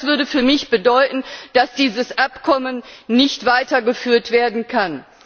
und auch das würde für mich bedeuten, dass dieses Abkommen nicht weitergeführt werden kann.